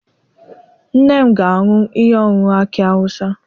Nne m ga-aṅụ ihe ọṅụṅụ aki awụsa.